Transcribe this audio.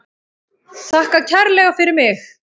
Þakka kærlega fyrir mig.